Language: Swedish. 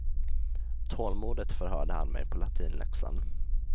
Tålmodigt förhörde han mig på latinläxan.